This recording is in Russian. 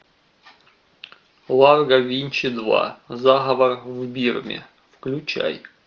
ларго винч два заговор в бирме включай